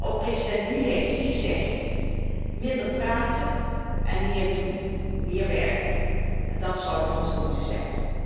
Ook president Gül heeft het gezegd, minder praten en meer doen, meer werken, dat zou het motto moeten zijn.